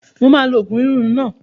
Mo máa lo oògùn inú rírun náà